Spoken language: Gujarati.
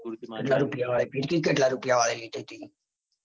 . કેટલા રૂપિયાની લીધી તી